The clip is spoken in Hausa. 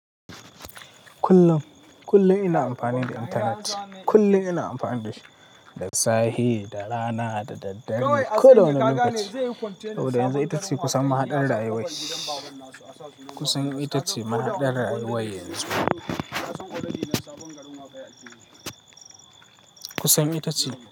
Kullum, kullum ina amfani da intanet. Kullum ina amfani da shi, da safe, da rana, da daddare, koda wane lokaci. Saboda yanzu ita ce kusan mahaɗar rayuwar. Kusan ita ce mahaɗar rayuwar yanzu. Kusan ita ce.